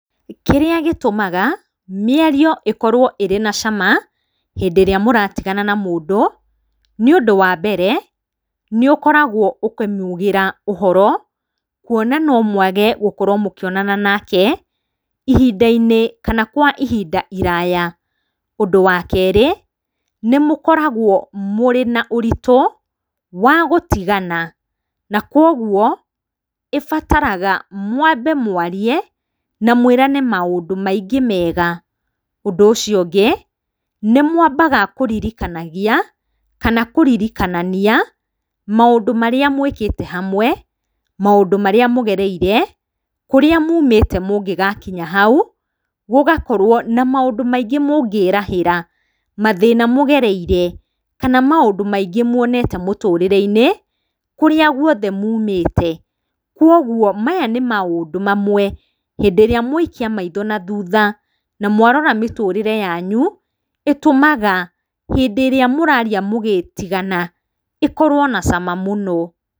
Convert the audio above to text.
Kĩrĩa gĩtũmaga mĩario ĩkorwo ĩrĩ na cama hĩndĩ ĩrĩa mũratigana na mũndũ, nĩũndũ wa mbere, nĩũkoragwo ũkĩmugĩra ũhoro, kuona nomwage gũkorwo mũkĩonana nake, ihinda-inĩ kana kwa ihinda iraya. Ũndũ wa kerĩ, nĩmũkoragwo mũrĩ na ũritũ wa gũtigana, na koguo ĩbataraga mwambe mwarie, na mwĩrane maũndũ maingĩ mega. Ũndũ ũcio ũngĩ, nĩmwambaga kũririkanagia, kana kũririkanania maũndũ marĩa mwĩkĩte hamwe, maũndũ marĩa mũgereire, kũrĩa mumĩte mũngĩgakinya hau, gũgakorwo na maũndũ maingĩ mũngĩrahĩra, mathĩna mũgereire kana maũndũ maingĩ muonete mũtũrĩre-inĩ, kũrĩa guothe mumĩte koguo maya nĩ maũndũ mamwe, hĩndĩ ĩrĩa mwaikia maitho na thutha na mwarora mĩtũrĩre yanyu, ĩtũmaga hĩndĩ ĩrĩa mũraria mũgĩtigana, ĩkorwo na cama mũno.